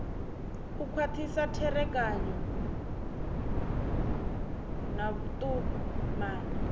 u khwathisa tserekano na vhutumani